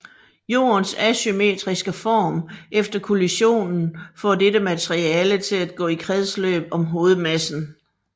Jordens asymmetriske form efter kollisionen får dette materiale til at gå i kredsløb om hovedmassen